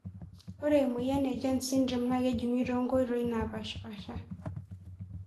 Ore emoyian e jones syndrome na kejungi tonkoitoi napashpasha